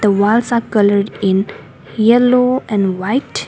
The walls are coloured in yellow and white.